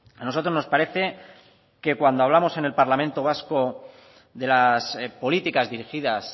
a nosotros nos parece que cuando hablamos en el parlamento vasco de las políticas dirigidas